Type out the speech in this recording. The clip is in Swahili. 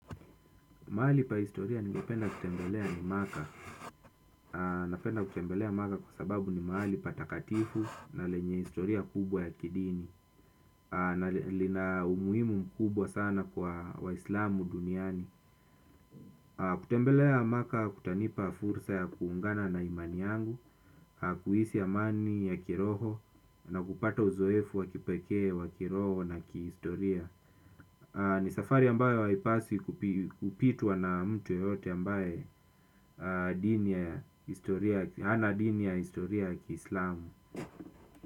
Mahali pa historia ningependa kutembelea ni maka. Napenda kutembelea maka kwa sababu ni mahali patakatifu na lenye historia kubwa ya kidini. Na lina umuimu mkubwa sana kwa waislamu duniani. Kutembelea maka kutanipa fursa ya kuungana na imani yangu. Kuhisi amani ya kiroho na kupata uzoefu wa kipekee wa kiroho na kihistoria. Ni safari ambayo haipaswi kupitwa na mtu yeyote ambayo ana dini ya historia ya kislamu.